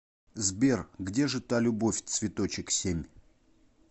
сбер где же та любовь цветочек семь